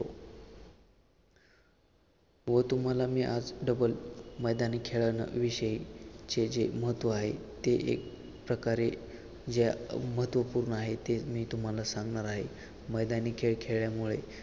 व तुम्हाला मी आज डबल मैदानी खेळांविषयी जे जे महत्व आहे ते एक प्रकारे जे महत्वपूर्ण आहे ते मी तुम्हाला सांगणार आहे मैदानी खेळ खेळल्यामुळे